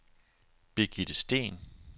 Birgitte Steen